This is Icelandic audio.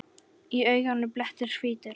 Í auganu blettur hvítur.